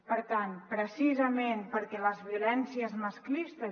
per tant precisament perquè les violències masclistes